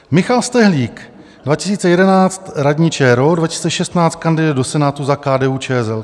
Michal Stehlík - 2011, radní ČRo, 2016 kandiduje do Senátu za KDU-ČSL.